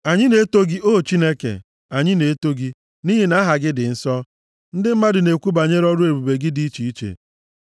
Anyị na-eto gị, O Chineke. Anyị na-eto gị, nʼihi na aha gị dị nso. Ndị mmadụ na-ekwu banyere ọrụ ebube gị dị iche iche.